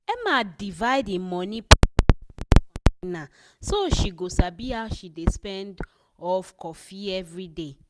emma divide e money put for different container so she go sabi how she dey spend of coffee everyday.